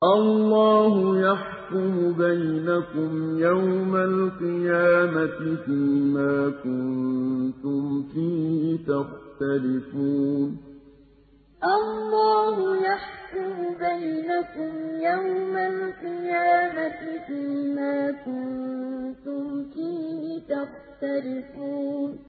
اللَّهُ يَحْكُمُ بَيْنَكُمْ يَوْمَ الْقِيَامَةِ فِيمَا كُنتُمْ فِيهِ تَخْتَلِفُونَ اللَّهُ يَحْكُمُ بَيْنَكُمْ يَوْمَ الْقِيَامَةِ فِيمَا كُنتُمْ فِيهِ تَخْتَلِفُونَ